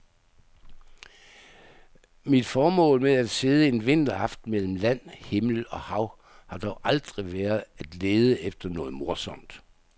Mit formål med at sidde en vinteraften mellem land, himmel og hav har dog aldrig været at lede efter noget morsomt.